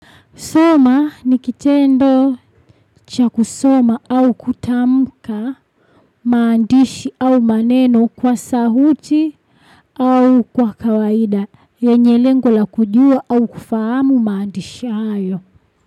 Soma ni kitendo cha kusoma au kutamuka maandishi au maneno kwa sauti au kwa kawaida. Yenye lengo la kujua au kufahamu maandishi hayo.